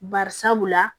Barisabula